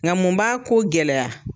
Nka mun b'a ko gɛlɛya